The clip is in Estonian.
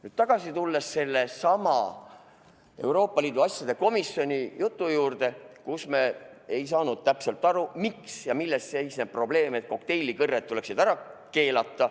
Tulen aga tagasi sellesama Euroopa Liidu asjade komisjoni istungi juurde, kus me ei saanud täpselt aru, milles seisneb probleem, miks kokteilikõrred tuleks ära keelata.